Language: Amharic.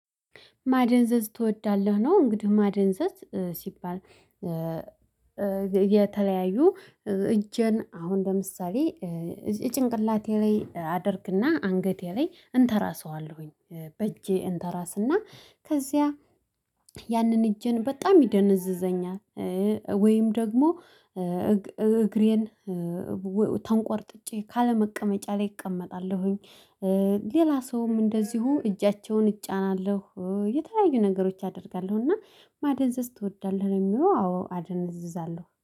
ማደንዘዝ ትወዳለህ ነው እንግዲህ ማደንዘዝ ሲባል። የተለያዩ እጄን አሁን ለምሳሌ ጭንቅላቴ ላይ አደርግና አንገቴ ላይ እንተራሰዋለሁኝ በእጄ እንተራስና ከዚያ ያንን እጄን በጣም ይደነዝዘኛል። ወይም ደግሞ እግሬን። ተንቋርጥጬ ካለመቀመጫ ላይ እቀመጣለሁኝ። ሌላ ሰውም እንደዚሁ እጃቸውን እጫናለሁ የተለያዩ ነገሮች አደርጋለሁና። ማደንዘዝ ትወዳለህ? የሚለው አዎ አደንዘዛለሁ